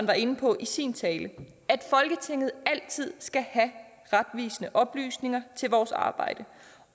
var inde på i sin tale at folketinget altid skal have retvisende oplysninger til vores arbejde